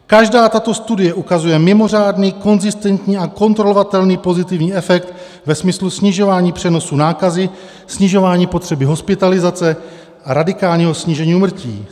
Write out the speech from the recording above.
Každá tato studie ukazuje mimořádný konzistentní a kontrolovatelný pozitivní efekt ve smyslu snižování přenosu nákazy, snižování potřeby hospitalizace a radikálního snížení úmrtí.